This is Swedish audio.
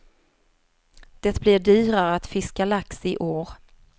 Det blir dyrare att fiska lax i år.